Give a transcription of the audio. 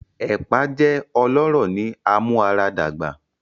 Epa jẹ ọlọrọ ni amuaradagba.